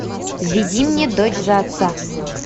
введи мне дочь за отца